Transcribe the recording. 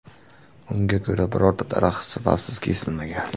Unga ko‘ra, birorta daraxt sababsiz kesilmagan.